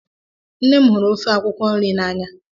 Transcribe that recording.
Nne m hụrụ ofe akwụkwọ nri n'anya